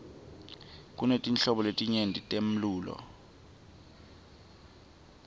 kunetinhlobo letinyeti temlulo